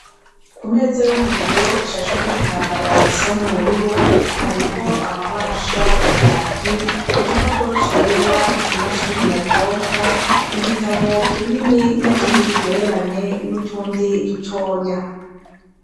Ku meza yo mu biro ishasheko igitambara gisa n'ubururu hariko amabahasha ya kaki , igipapuro cera, imashini nyabwonko , igitabo kinini n'ikindi kigereranye, n'utundi dutonya.